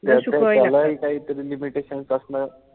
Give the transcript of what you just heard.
त्यालाही काही तरी limitations असणार.